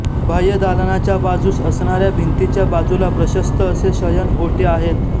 बाह्य दालनाच्या बाजूस असणाऱ्या भिंतीच्या बाजूला प्रशस्त असे शयन ओटे आहेत